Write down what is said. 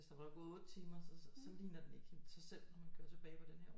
Hvis der var gået 8 timer så ligner den ikke helt sig selv når man kører tilbage på den her